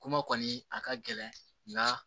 Kuma kɔni a ka gɛlɛn nga